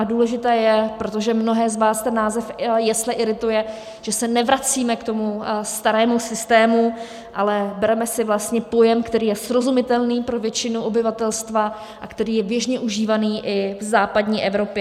A důležité je, protože mnohé z vás ten název jesle irituje, že se nevracíme k tomu starému systému, ale bereme si vlastně pojem, který je srozumitelný pro většinu obyvatelstva a který je běžně užívaný i v západní Evropě.